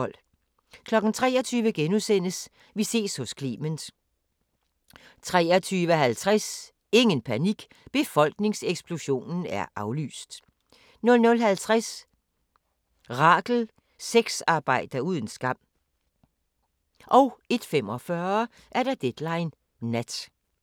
23:00: Vi ses hos Clement * 23:50: Ingen panik – befolkningseksplosionen er aflyst! 00:50: Rachel – sexarbejder uden skam 01:45: Deadline Nat